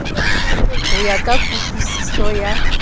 ho ya ka kutlwisiso ya